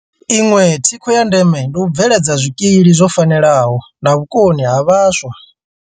Iṅwe thikho ya ndeme ndi u bveledza zwikili zwo fanelaho na vhukoni ha vhaswa.